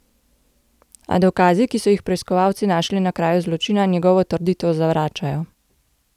A dokazi, ki so jih preiskovalci našli na kraju zločina, njegovo trditev zavračajo.